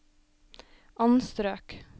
anstrøk